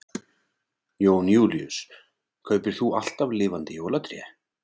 Jón Júlíus: Kaupir þú alltaf lifandi jólatré?